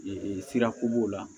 sira ko b'o la